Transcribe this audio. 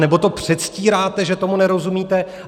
Anebo to předstíráte, že tomu nerozumíte.